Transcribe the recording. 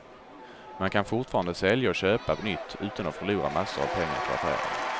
Man kan fortfarande sälja och köpa nytt utan att förlora massor av pengar på affären.